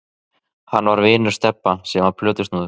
Hann var vinur Stebba sem var plötusnúður.